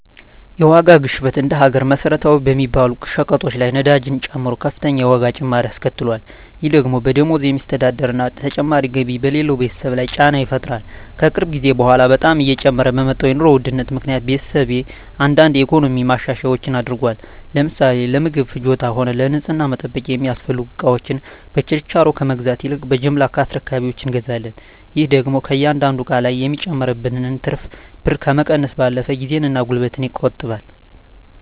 የዋጋ ግሽበት እንደ ሀገር መሰረታዊ በሚባሉ ሸቀጦች ላይ ነዳጅን ጨምሮ ከፍተኛ የዋጋ ጭማሪ አስከትሏል። ይህ ደግሞ በደሞዝ በሚስተዳደር እና ተጨማሪ ገቢ በሌለው ቤተሰብ ላይ ጫና ይፈጥራል። ከቅርብ ጊዜ በኃላ በጣም እየጨመረ በመጣው የኑሮ ውድነት ምክኒያት ቤተሰቤ አንዳንድ የኢኮኖሚ ማሻሻያዎች አድርጓል። ለምሳሌ ለምግብ ፍጆታም ሆነ ለንፅህና መጠበቂያ የሚያስፈልጉ እቃወችን በችርቻሮ ከመግዛት ይልቅ በጅምላ ከአስረካቢወች እንገዛለን። ይህ ደግሞ ከእያንዳንዱ እቃ ላይ የሚጨመርብንን ትርፍ ብር ከመቀነሱም ባለፈ ጊዜን እና ጉልበትን ይቆጥባል።